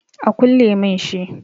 A kulle mun shi